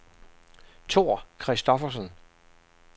Thor Christoffersen